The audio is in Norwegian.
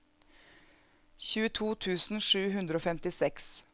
tjueto tusen sju hundre og femtiseks